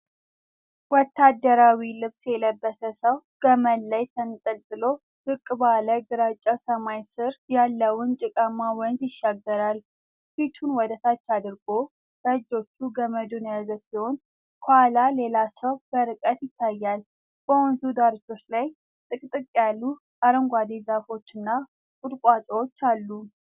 ወታደራዊ ልብስ የለበሰ ሰው ገመድ ላይ ተንጠልጥሎ ዝቅ ባለ ግራጫ ሰማይ ስር ያለውን ጭቃማ ወንዝ ይሻገራል። ፊቱን ወደ ታች አድርጎ በእጆቹ ገመዱን የያዘ ሲሆን፤ ከኋላው ሌላ ሰው በርቀት ይታያል። በወንዙ ዳርቻዎች ላይ ጥቅጥቅ ያሉ አረንጓዴ ዛፎችና ቁጥቋጦዎች አሉ።